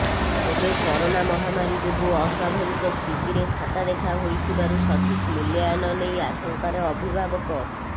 ତେବେ କରୋନା ମହାମାରୀ ଯୋଗୁଁ ଅସ୍ବାଭାବିକ ସ୍ଥିତିରେ ଖାତା ଦେଖା ହୋଇଥିବାରୁ ସଠିକ୍ ମୂଲ୍ୟାୟନ ନେଇ ଆଶଙ୍କାରେ ଅଭିଭାବକ